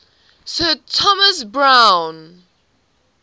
sir thomas browne